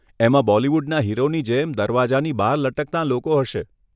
એમાં બોલિવૂડના હીરોની જેમ દરવાજાની બહાર લટકતાં લોકો હશે.